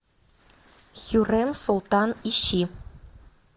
хюррем султан ищи